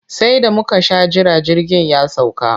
Sai da muka sha jira jirgin ya sauka.